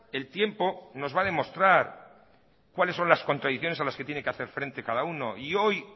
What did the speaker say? el tiempo nos va a demostrar cuáles son las contradicciones a las que tiene que hacer frente cada uno y